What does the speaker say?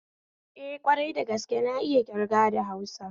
Eh, kwarai dagaske na iya ƙirga da hausa